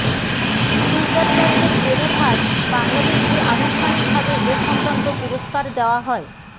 সুইজারল্যান্ডের জেনেভায় বাংলাদেশকে আনুষ্ঠানিকভাবে এ সংক্রান্ত পুরস্কার দেওয়া হয়